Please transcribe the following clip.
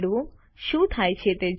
શું થાય છે તે જુઓ